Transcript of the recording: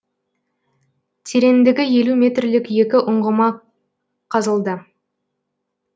тереңдігі елу метрлік екі ұңғыма қазылды